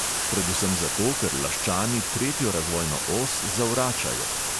"Predvsem zato, ker laščani tretjo razvojno os zavračajo."